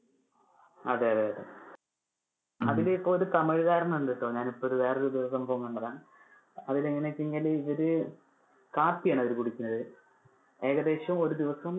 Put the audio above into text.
അതെ അതെ. അതില് ഇപ്പൊ ഒരു തമിഴ് കാരന് ഉണ്ടട്ടോ, ഞാൻ ഇപ്പൊ ഇത് വേറെ ഒരു സംഭവം കണ്ടതാ. അതിൽ എങ്ങനെ ആണെന്ന് വെച്ച് കഴിഞ്ഞാൽ ഇവര് കാപ്പി ആണ് അവര് കുടിക്കുന്നത്. ഏകദേശം ഒരു ദിവസം